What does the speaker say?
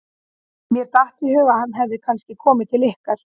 Mér datt í hug að hann hefði kannski komið til ykkar.